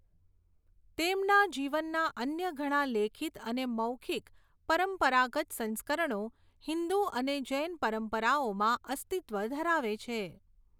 તેમના જીવનના અન્ય ઘણા લેખિત અને મૌખિક પરંપરાગત સંસ્કરણો હિન્દુ અને જૈન પરંપરાઓમાં અસ્તિત્વ ધરાવે છે.